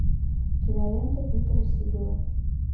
киноленты питера сигала